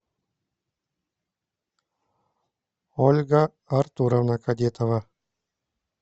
ольга артуровна кадетова